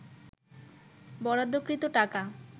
বরাদ্দকৃত টাকা